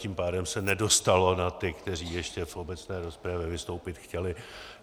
Tím pádem se nedostalo na ty, kteří ještě v obecné rozpravě vystoupit chtěli.